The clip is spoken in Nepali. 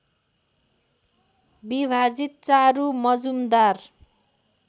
विभाजित चारु मजुमदार